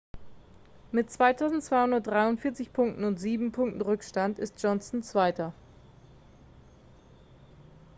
mit 2243 punkten und sieben punkten rückstand ist johnson zweiter